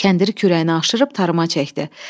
Kəndiri kürəyinə aşırıb tarıma çəkdi.